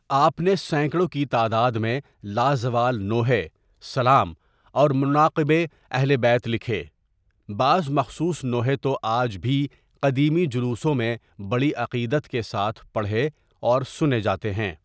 آپ نے سینکڑوں کے تعداد میں لازوال نوحے، سلام اور مناقب ِ اہلبیت لکھے، بعض مخصوص نوحے تو آج بھی قدیمی جلوسوں میں بڑی عقیدت کے ساتھ پڑھے اور سنُے جاتے ہیں.